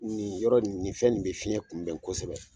Nin yɔrɔ nin fɛn in bɛ fiyɛn kunbɛn kosɛbɛ.